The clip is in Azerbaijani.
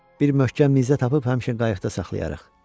Bir möhkəm nizə tapıb həmişə qayıqda saxlayarıq.